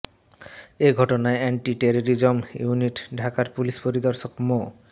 এ ঘটনায় anti terrorism unit ঢাকার পুলিশ পরিদর্শক মো